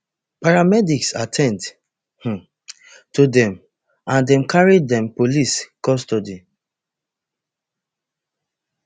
paramedics at ten d um to dem and dem carry dem police custody